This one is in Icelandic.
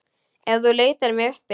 Ef þú leitar mig uppi.